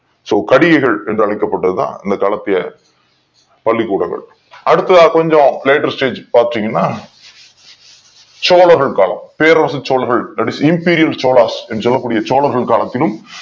So கடிகைகள் என்று அழைக் கப்பட்டது தான் அந்த காலத்திய பள்ளிக் கூடங்கள் அடுத்ததா கொஞ்சம் later stage பாத்தீங்கன்னா சோழர்கள் காலம் பேரரச சோழர்கள் that is imperial Cholas என்று சொல்லக் கூடிய சோழர்கள் காலத்திலும்